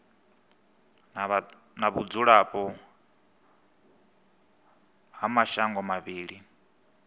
na vhudzulapo ha mashango mavhili